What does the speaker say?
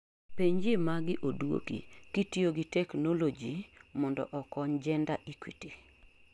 penjio magi oduoki: kitiyo gi Technology mondo okony Gender Equity